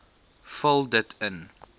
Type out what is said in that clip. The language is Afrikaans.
vul dit in